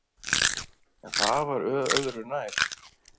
En það var öðu nær.